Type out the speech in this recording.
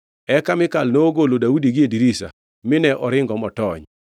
Eka Mikal nogolo Daudi gie dirisa, mine oringo motony.